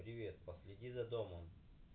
привет последи за домом